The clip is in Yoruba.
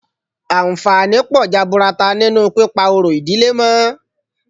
Àǹfààní pọ̀ jaburata nínú pípa orò ìdílé mọ́